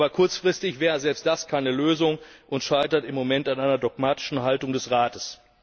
Aber kurzfristig wäre selbst das keine Lösung und scheitert im Moment an einer dogmatischen Haltung des Rates.